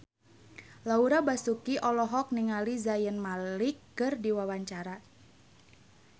Laura Basuki olohok ningali Zayn Malik keur diwawancara